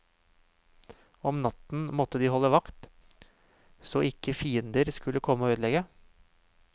Om natten måtte de holde vakt ,så ikke fiender skulle komme og ødelegge.